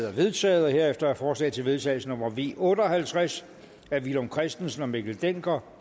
er vedtaget herefter er forslag til vedtagelse nummer v otte og halvtreds af villum christensen og mikkel dencker